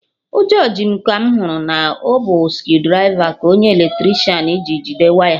Ụjọ ji m ka mụ hụrụ na ọ bụ screwdriver ka onye Eletricịanji jide waya